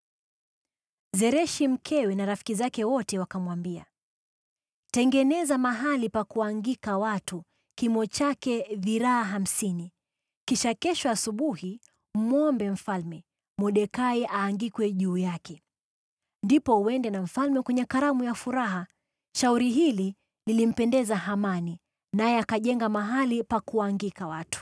Zereshi mkewe na rafiki zake wote wakamwambia, “Tengeneza mahali pa kuangika watu kimo chake dhiraa hamsini, kisha kesho asubuhi mwombe mfalme Mordekai aangikwe juu yake. Ndipo uende na mfalme kwenye karamu kwa furaha.” Shauri hili lilimpendeza Hamani, naye akajenga mahali pa kuangika watu.